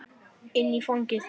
Inn í fangið.